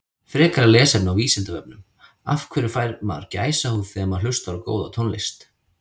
Frekara lesefni á Vísindavefnum Af hverju fær maður gæsahúð þegar maður hlustar á góða tónlist?